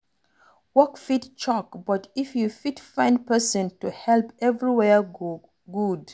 Work fit choke but if you fit find person to help, everywhere go good